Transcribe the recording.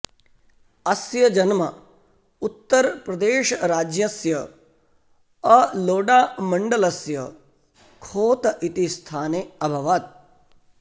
अस्य जन्म उत्तरप्रदेशराज्यस्य अलोडामण्डलस्य खोत इति स्थाने अभवत्